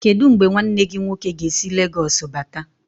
Kedụ mgbe nwanne gị nwoke ga-esi Legoosu bata?